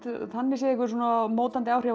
þannig séð einhver mótandi áhrif á